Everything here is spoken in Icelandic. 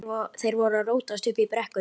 Þeir voru að rótast uppi í brekkum.